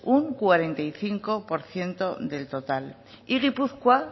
un cuarenta y cinco por ciento del total y gipuzkoa